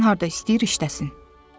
Getsin harda istəyir işləsin.